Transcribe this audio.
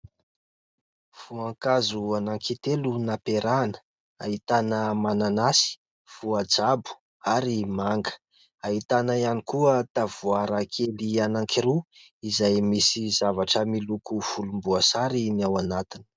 Voankazo anankitelo nampiarahana ahitana mananasy, voajabo ary manga ahitana ihany koa tavoarakely anankiroa izay misy zavatra miloko volom-boasary ny ao anatiny.